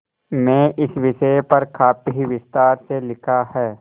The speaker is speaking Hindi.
में इस विषय पर काफी विस्तार से लिखा है